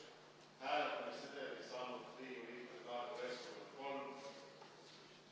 Hääletamissedeli saanud Riigikogu liikmete arv: 93.